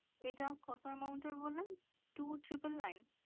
এটা কত amount বললেন? two triple nine?